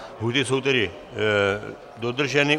Lhůty jsou tedy dodrženy.